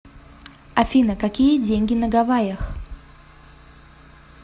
афина какие деньги на гавайях